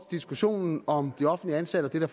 diskussionen om de offentligt ansatte og det der